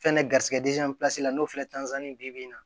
Fɛnɛ garisigɛ pilasi la n'o filɛ ni bi na